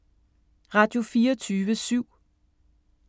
Radio24syv